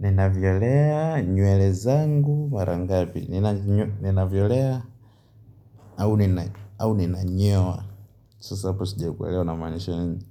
Ninavyolea nywele zangu mara ngabi Ninavyolea au ninanyoa Sasa hapo sijikuelewa unamaanisha nini